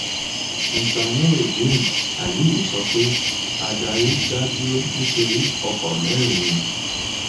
mr nurudeen aliyu sọ pé adarí dá dúró nítorí ọkọ mẹrin